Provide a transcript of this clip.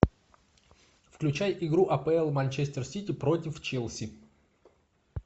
включай игру апл манчестер сити против челси